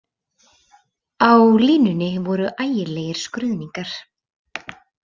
Á línunni voru ægilegir skruðningar.